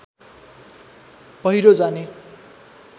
पहिरो जाने